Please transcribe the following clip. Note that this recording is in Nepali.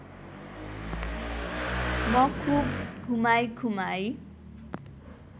म खुब घुमाईघुमाई